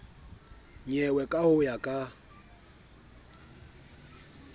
nyewe ka ho ya ka